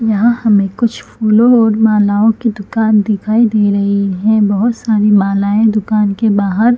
यहाँ हमे कुछ फूलों और मालाओं की दुकान दिखाई दे रही है बहोत सारी मालाएं दुकान के बाहर--